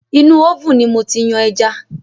Inú oven ni mo ti yan ẹja